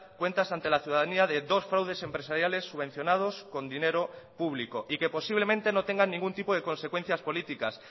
cuentas ante la ciudadanía de dos fraudes empresariales subvencionados con dinero público y que posiblemente no tengan ningún tipo de consecuencias políticas